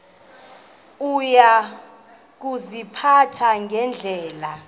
uya kuziphatha ngendlela